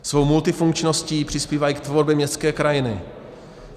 Svou multifunkčností přispívají k tvorbě městské krajiny.